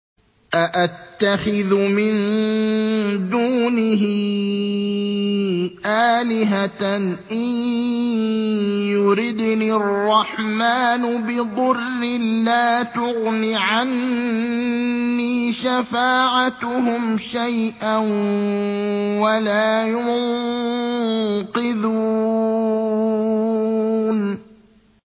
أَأَتَّخِذُ مِن دُونِهِ آلِهَةً إِن يُرِدْنِ الرَّحْمَٰنُ بِضُرٍّ لَّا تُغْنِ عَنِّي شَفَاعَتُهُمْ شَيْئًا وَلَا يُنقِذُونِ